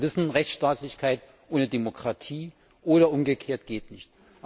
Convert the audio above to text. Wir wissen, Rechtsstaatlichkeit ohne Demokratie oder umgekehrt geht nicht.